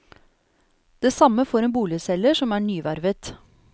Det samme får en boligselger som er nyvervet.